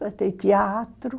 Vai ter teatro.